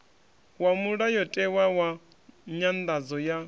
wa mulayotewa wa nyanḓadzo ya